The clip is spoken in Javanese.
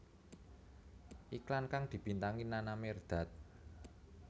Iklan kang dibintangi Nana Mirdad